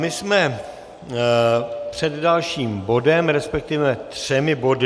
My jsme před dalším bodem, respektive třemi body.